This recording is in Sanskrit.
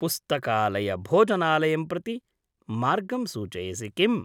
पुस्तकालयभोजनालयं प्रति मार्गं सूचयसि किम्?